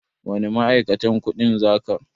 Wani ma'aikatan kuɗin za ka?